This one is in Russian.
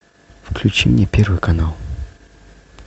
включи мне первый канал